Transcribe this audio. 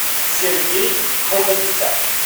сергей оганесян